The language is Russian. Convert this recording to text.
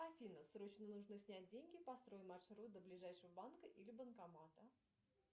афина срочно нужно снять деньги построй маршрут до ближайшего банка или банкомата